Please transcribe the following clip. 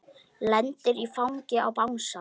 Lendir í fanginu á bangsa.